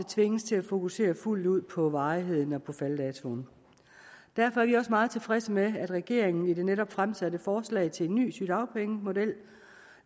tvinges til at fokusere fuldt ud på varigheden og på falddatoen derfor er vi også meget tilfredse med at regeringen i det netop fremsatte forslag til en ny sygedagpengemodel